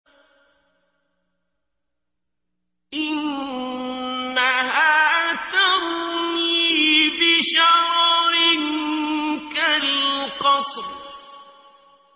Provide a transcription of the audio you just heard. إِنَّهَا تَرْمِي بِشَرَرٍ كَالْقَصْرِ